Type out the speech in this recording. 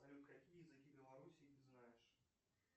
салют какие языки белоруссии ты знаешь